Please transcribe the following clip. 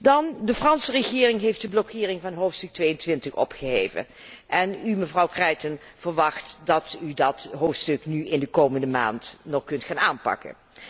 Dan, de Franse regering heeft de blokkering van hoofdstuk 22 opgeheven en u, mevrouw Creighton, verwacht dat u dat hoofdstuk in de komende maand nog kunt gaan aanpakken.